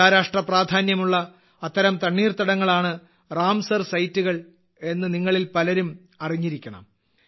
അന്താരാഷ്ട്ര പ്രാധാന്യമുള്ള അത്തരം തണ്ണീർത്തടങ്ങളാണ് റാംസർ സൈറ്റുകൾ എന്ന് നിങ്ങളിൽ പലരും അറിഞ്ഞിരിക്കണം